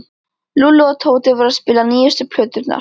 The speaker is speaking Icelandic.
Lúlli og Tóti voru að spila nýjustu plöturnar.